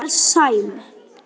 Einar Sæm.